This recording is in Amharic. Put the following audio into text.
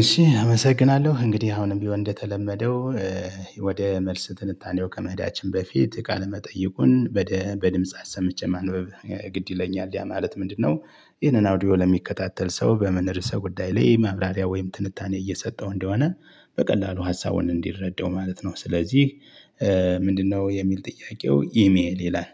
እሺ አመሰግናለሁ እንግዲህ አሁንም ቢሆን እንደተለመደው ወደ መልስ ትንታኔው ከመህዳችን በፊት ቃል መጠይቁን በድምጽ አሰምቼ ማንበብ ግድ ይለኛል ያ ማለት ምንድነው ይህንን አውዲዮ ለሚከታተል ሰው በምን ርዕሰ ጉዳይ ላይ ማብራሪያ ወይም ትንታኔ እየሰጠው እንደሆነ በቀላሉ ሀሳቡን እንዲረዳው ማለት ነው። ስለዚህ ምንድነው የሚል ጥያቄው ኢሜል ይላል።